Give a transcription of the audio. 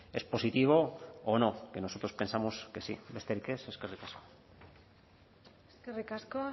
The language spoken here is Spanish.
es positivo o no que nosotros pensamos que sí besterik ez eskerrik asko eskerrik asko